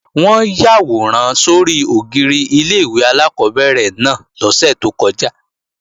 Wọ́n yàwòrán sórí ògiri ilé-ìwé alákọ́bẹ̀rẹ̀ náà lọ́sẹ̀ tó kọjá